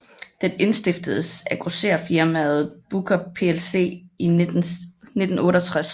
Den indstiftedes af grossererfirmaet Booker plc i 1968